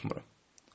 Unutmuram.